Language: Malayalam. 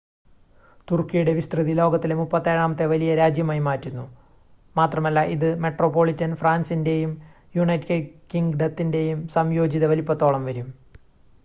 തുർക്കിയുടെ വിസ്‌തൃതി ലോകത്തിലെ 37-ാമത്തെ വലിയ രാജ്യമായി മാറ്റുന്നു മാത്രമല്ല ഇത് മെട്രോപൊളിറ്റൻ ഫ്രാൻസിൻ്റെയും യുണൈറ്റഡ് കിംഗ്ഡത്തിൻ്റെയും സംയോജിത വലുപ്പത്തോളം വരും